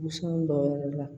dɔw yɛrɛ la